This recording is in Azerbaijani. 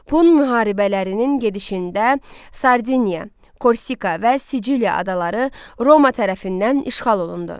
Pun müharibələrinin gedişində Sardiniya, Korsika və Siciliya adaları Roma tərəfindən işğal olundu.